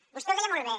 vostè ho deia molt bé